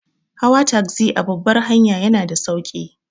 Hawa tagzi a babbar hanya yana da sauki.